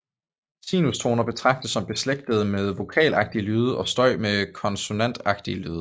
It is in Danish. Sinustoner betragtes som beslægtet med vokalagtige lyde og støj med konsonantagtige lyde